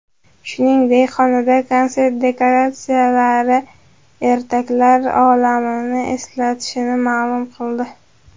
Shuningdek, xonanda konsert dekoratsiyalari ertaklar olamini eslatishini ma’lum qildi.